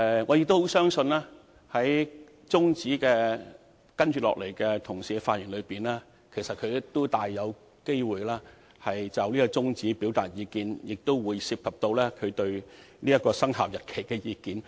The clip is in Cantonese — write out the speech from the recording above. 我相信，議員同事在接下來的發言中，大有機會就這項中止待續議案表達意見，當中或會包括他們對有關生效日期的意見。